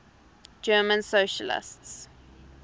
german socialists